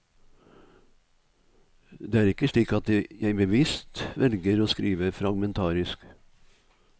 Det er ikke slik at jeg bevisst velger å skrive fragmentarisk.